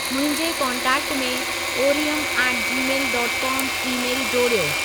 मुंहिंजे कोन्टेक्ट में ओरियमु at Gmail dot com email जोड़ियो